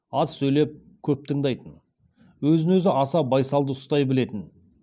аз сөйлеп көп тыңдайтын өзін өзі аса байсалды ұстай білетін